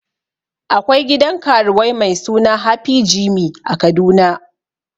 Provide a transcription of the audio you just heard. Akwai gidan karuwai mai suna happy jimmy a kaduna